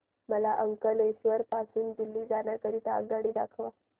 मला अंकलेश्वर पासून दिल्ली जाण्या करीता आगगाडी दाखवा